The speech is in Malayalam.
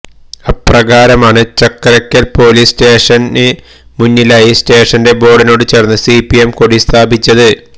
അപ്രകാരമാണ് ചക്കരക്കല് പോലീസ് സ്റ്റേഷന് മുന്നിലായി സ്റ്റേഷന്റെ ബോര്ഡിനോട് ചേര്ന്ന് സി പി എം കൊടി സ്ഥാപിച്ചത്